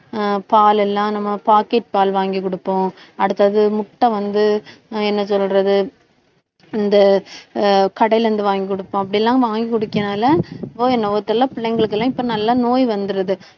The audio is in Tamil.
ஆஹ் பால் எல்லாம் நம்ம packet பால் வாங்கி கொடுப்போம். அடுத்தது முட்டை வந்து, என்ன சொல்றது இந்த கடையில அஹ் இருந்து வாங்கி கொடுப்போம் அப்படி எல்லாம் வாங்கி கொடுக்கிறதுனால என்னவோ தெரியல, பிள்ளைங்களுக்கு எல்லாம் இப்ப நல்லா நோய் வந்துருது